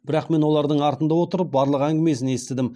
бірақ мен олардың артында отырып барлық әңгімені естідім